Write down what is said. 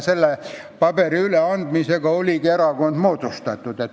Selle paberi üleandmisega oligi erakond moodustatud.